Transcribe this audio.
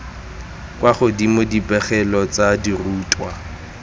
kwa godimo dipegelo tsa dirutwa